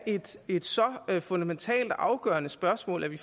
et så fundamentalt og afgørende spørgsmål at vi